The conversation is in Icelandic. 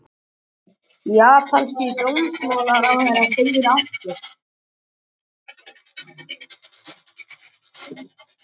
Japanski dómsmálaráðherrann segir af sér